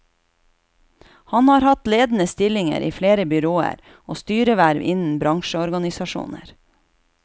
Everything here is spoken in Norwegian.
Han har hatt ledende stillinger i flere byråer, og styreverv innen bransjeorganisasjoner.